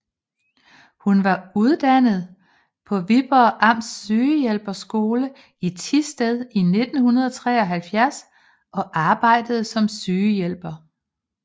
Hun var uddannet på Viborgs Amts Sygehjælperskole i Thisted i 1973 og arbejdede som sygehjælper